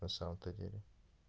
на самом-то деле